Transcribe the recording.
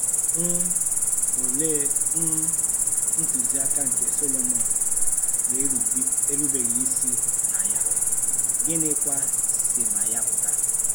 um Òlee um ntùziaka nke Sòlomọn na-erúbeghị isi na ya, gịnịkwa sì na ya pụta?